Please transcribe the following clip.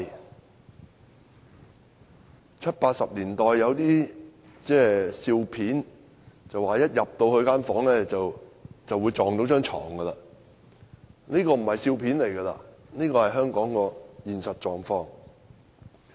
在七八十年代，喜劇中的人物一進入房間便會撞到睡床，但現在這已不是喜劇，而是香港的現實狀況。